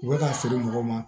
U bɛ ka feere mɔgɔw ma